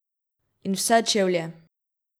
In vse čevlje!